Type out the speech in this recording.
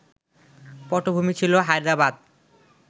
পটভূমি ছিল হায়দ্রাবাদ